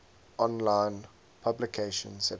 online publication september